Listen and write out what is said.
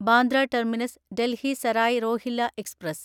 Bandra terminus Delhi Sarai Rohilla express